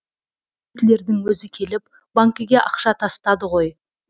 гитлердің өзі келіп банкіне ақша тастады ғой